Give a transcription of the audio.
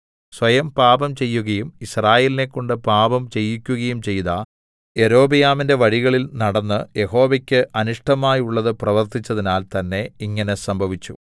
സ്വയം പാപംചെയ്യുകയും യിസ്രായേലിനെക്കൊണ്ട് പാപം ചെയ്യിക്കുകയും ചെയ്ത യൊരോബെയാമിന്റെ വഴികളിൽ നടന്ന് യഹോവയ്ക്ക് അനിഷ്ടമായുള്ളത് പ്രവൃത്തിച്ചതിനാൽ തന്നേ ഇങ്ങനെ സംഭവിച്ചു